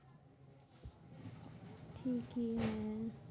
কি হ্যাঁ?